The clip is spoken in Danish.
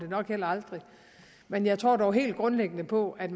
nok heller aldrig men jeg tror dog helt grundlæggende på at